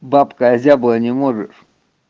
бабка озябла не можешь